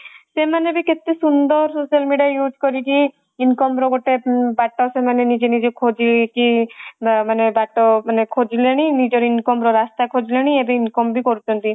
ସେମାନେ ବି କେତେ ସୁନ୍ଦର social media use କରିକି income ର ଗୋଟେ ବାଟା ସେମାନେ ନିଜେ ନିଜେ ଖୋଜିକି ମାନେ ବାଟ ମାନେ ଖୋଜିଲେଣି ମାନେ ନିଜର income ର ରାସ୍ତା ରାସ୍ତା ଖୋଜିଲେଣି ଏବେ income ବି କରୁଛନ୍ତି